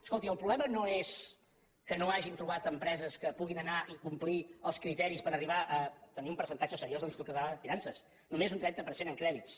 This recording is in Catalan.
escolti el problema no és que no hagin trobat empreses que puguin anar i complir els criteris per arribar a tenir un percentatge seriós de l’institut català de finances només un trenta per cent en crèdits